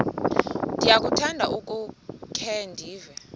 ndiyakuthanda ukukhe ndive